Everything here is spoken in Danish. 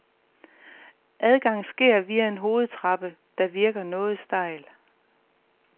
Adgang sker via en hovedtrappe, der virker noget stejl.